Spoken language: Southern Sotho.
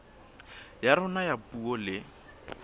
ya rona ya puo le